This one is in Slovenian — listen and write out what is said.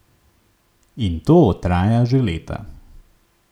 In to traja že leta.